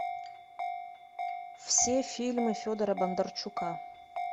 все фильмы федора бондарчука